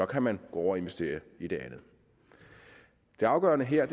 kan man gå over og investere i det andet det afgørende her